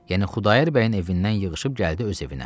Yəni Xudayar bəyin evindən yığışıb gəldi öz evinə.